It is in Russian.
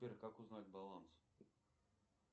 сбер как узнать баланс